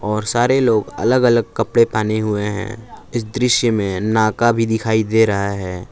और सारे लोग अलग अलग कपड़े पहने हुए हैं इस दृश्य में नाका भी दिखाई दे रहा है।